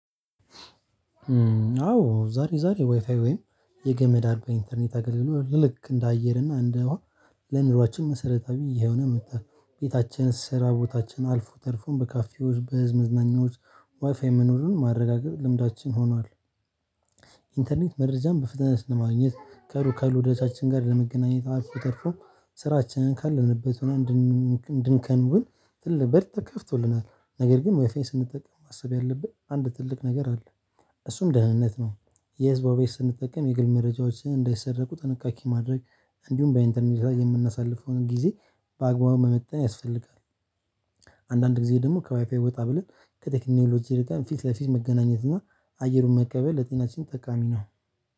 አዎ ዛሬ ዛሬ ዋይፋይ ወይም የገመድ አድርጎ ኢንተርኔት አገልግሎት ልክ እንደ አየር እና እንደ ውሃ ለኑሯችን መሰረታዊ ይሄውን መጣህ ቤታችን ስራ ቦታችን አልፎ ተርፎም በካፌዎች በህዝብ መዝናኛዎች ዋይፋይ መኖሩን ማረጋገጥ ልምዳችን ሆኗል ኢንተርኔት መረጃን በፍጥነት ለማግኘት ከሩቅካሉ ወዳጃችን ጋር ለመገናኘት አልተፎተርፎም ስራችንን ካለንበት ሆነን እንድንከውን ትልቅ በር ተከፍቶልናል። ነገር ግን ዋይፋን ስንጠቀም ማሰብ ያለብን አንድ ትልቅ ነገር አለ። እሱም ደህንነት ነው። የህዝብን ቤት ስንጠቀም የግል መረጃዎችን እንዳይሰረቁ ጥንቃቄ ማድረግ እንዲሁም በኢንተርኔት የምናሳልፈውን ጊዜ በአግባቡ መመጠን ያስፈልጋል። አንድአንድ ጊዜ ደግሞ ከዋይፋይ ወጣ ብለን ከቴክኖሎጂ ጋር ፊት ለፊት መገናኘት እና አየሩን መቀበል ለጤናችን ጠቃሚ ነው።